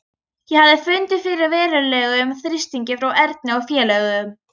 Ég hafði fundið fyrir verulegum þrýstingi frá Erni og félögum.